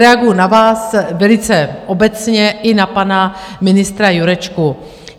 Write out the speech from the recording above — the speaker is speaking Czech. Reaguji na vás, velice obecně, i na pana ministra Jurečku.